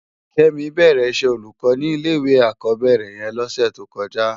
Kemi bèrè iṣè ólúkò ni ilé iwé ákòbèrè yèn lòsè tókòjá